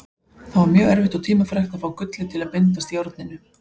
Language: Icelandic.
Það var mjög erfitt og tímafrekt að fá gullið til að bindast járninu.